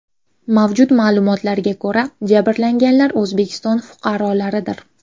Mavjud ma’lumotlarga ko‘ra, jabrlanganlar O‘zbekiston fuqarolaridir.